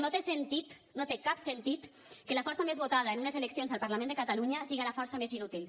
no té sentit no té cap sentit que la força més votada en unes eleccions al parlament de catalunya siga la força més inútil